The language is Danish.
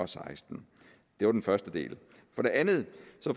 seksten det var den første del